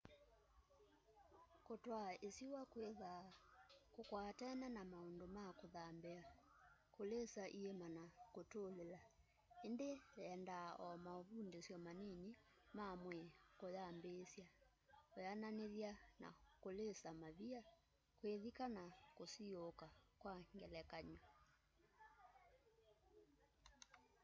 kutwaa isiwa kwithwaa kukwatene na maundu ma kuthambia kulisa iima na kutulila -- indi yendaa o mauvundisyo manini ma mwii kuyambiisya weananithya na kulisa mavia kwithika kana kusiuuka kwa ngelekany'o